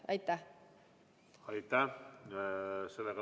Aitäh!